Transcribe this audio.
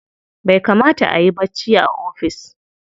Bai kamata ayi bacci ba a ofis.